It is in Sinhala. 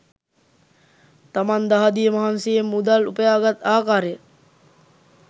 තමන් දහදිය මහන්සියෙන් මුදල් උපයාගත් ආකාරය